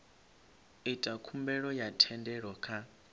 ita khumbelo ya thendelo kha